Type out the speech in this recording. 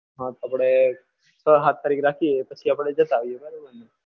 હા આપણે છ સાત તારીખે રાખીએ પછી આપણે જતા આવીએ બરાબરને?